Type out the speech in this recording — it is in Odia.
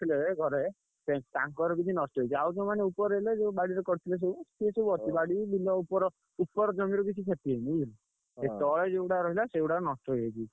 ଘରେ ସେ ତାଙ୍କର କିଛି ନଷ୍ଟ ହେଇଛି ଆଉ ଯେଉଁମାନେ ଉପରେ ରହିଲେ ଯୋଉ ବାଡିରେ କରିଥିଲେ ସବୁ ସେ ସବୁ ଅଛି ବାଡି ବିଲ ଉପର ଉପର ଜମି ର କିଛି କ୍ଷତି ହେଇନି ବୁଝିଲୁ ଏଇ ତଳେ ଯୋଉ ଗୁଡାକ ରହିଲା ସେଇ ଗୁଡାକ ନଷ୍ଟ ହେଇଯାଇଛି।